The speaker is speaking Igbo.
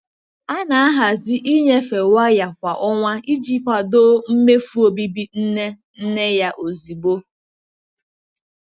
A na-ahazi ịnyefe waya kwa ọnwa iji kwado mmefu obibi nne nne ya ozugbo.